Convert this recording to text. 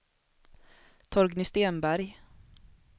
Torgny Stenberg